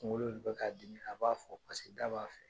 Kunkolo de be ka dimi, a b'a fɔ . Paseke da b'a fɛ.